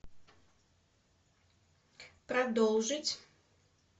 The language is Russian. продолжить